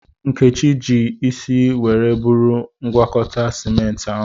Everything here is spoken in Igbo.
Nkechi ji isi were buru ngwakọta simenti ahụ.